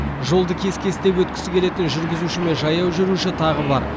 жолды кес кестеп өткісі келетін жүргізуші мен жаяу жүруші тағы бар